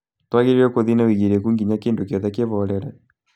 Twagĩrĩirwo nĩ gũthiĩ na ũigĩrĩki nginya kĩndu gĩothe kĩhorere